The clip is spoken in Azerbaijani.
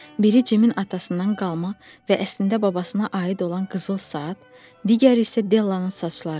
Biri Cimin atasından qalma və əslində babasına aid olan qızıl saat, digəri isə Della'nın saçları.